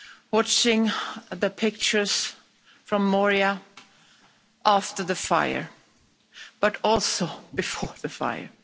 watching the pictures from Moria after the fire, but also before the fire.